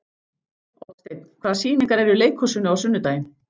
Oddsteinn, hvaða sýningar eru í leikhúsinu á sunnudaginn?